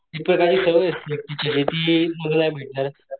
तिथं काय सवय असती टीचर येति मी नाही भेटणार,